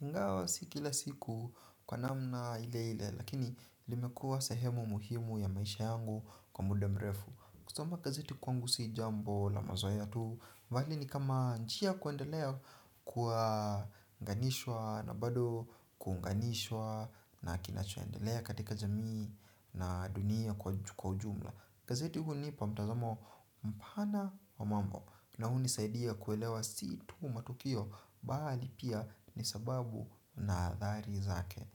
Ingawo si kila siku kwa namna ile ile lakini limekua sehemu muhimu ya maisha yangu kwa muda mrefu. Kusoma gazeti kwangu si jambo la mazoea tu. Mbali ni kama njia ya kuendelea kuanganishwa na bado kuunganishwa na kinachoendelea katika jamii na dunia kwa ujumla. Gazeti hunipa mtazamo mpana wa mambo na hunisaidia kuelewa si tu matukio bali pia ni sababu na athari zake.